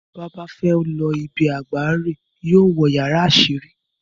Tí oba bá féé lo ibi àgbà rèè, yóó wo yàrá àsírí.